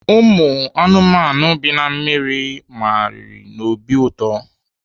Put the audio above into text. Ụmụ anụmanụ bi na mmiri magharịrị n'obi ụtọ.